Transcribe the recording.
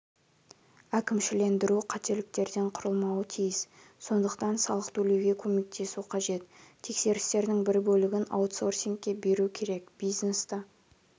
әкімшілендіру қателіктерден құрылмауы тиіс сондықтан салық төлеуге көмектесу қажет тексерістердің бір бөлігін аутсорсингке беру керек бизнесті